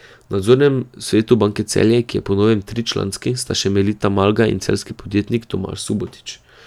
V nadzornem svetu Banke Celje, ki je po novem tričlanski, sta še Melita Malgaj in celjski podjetnik Tomaž Subotič.